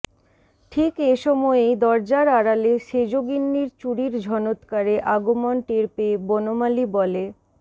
ঠিক এ সময়েই দরজার আড়ালে সেজগিন্নির চুড়ির ঝনৎকারে আগমন টের পেয়ে বনমালী বলে